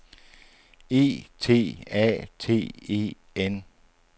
E T A T E N